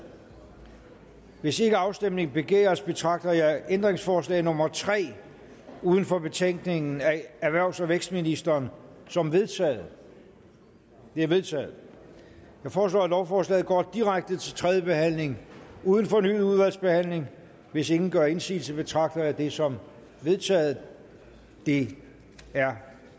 hvis ikke afstemning begæres betragter jeg ændringsforslag nummer tre uden for betænkningen af erhvervs og vækstministeren som vedtaget det er vedtaget jeg foreslår at lovforslaget går direkte til tredje behandling uden fornyet udvalgsbehandling hvis ingen gør indsigelse betragter jeg det som vedtaget det er